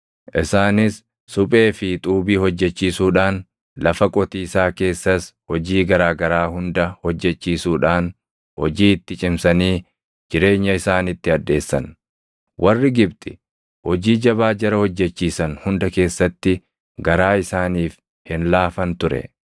Isaanis suphee fi xuubii hojjechiisuudhaan, lafa qotiisaa keessas hojii garaa garaa hunda hojjechiisuudhaan hojii itti cimsanii jireenya isaanitti hadheessan; warri Gibxi hojii jabaa jara hojjechiisan hunda keessatti garaa isaaniif hin laafan ture.